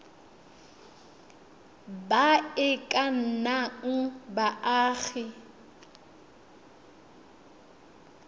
ba e ka nnang baagi